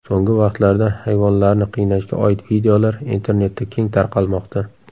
So‘nggi vaqtlarda hayvonlarni qiynashga oid videolar internetda keng tarqalmoqda.